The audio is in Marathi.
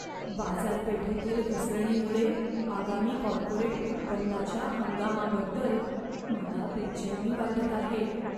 बाजारपेठेतील घसरणीमुळे आगामी कॉर्पोरेट उत्पन्नाच्या हंगामाबद्दल मला बेचैनी वाटत आहे.